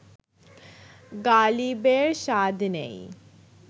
গালিবের স্বাদ নেই